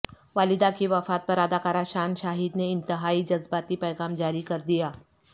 والدہ کی وفات پر اداکار شان شاہد نے انتہائی جذباتی پیغام جاری کردیا